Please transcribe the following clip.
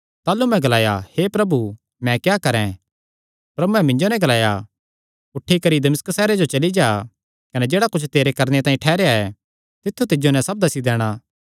ताह़लू मैं ग्लाया हे प्रभु मैं क्या करैं प्रभुयैं मिन्जो नैं ग्लाया उठी करी दमिश्क सैहरे जो चली जा कने जेह्ड़ा कुच्छ तेरे करणे तांई ठैहराया ऐ तित्थु तिज्जो नैं सब दस्सी दैणा